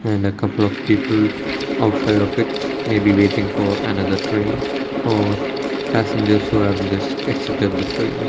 and a couple of people outside of it may be waiting for another train or passengers who have just exited the train.